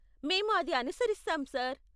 మేము అది అనుసరిస్తాం, సార్.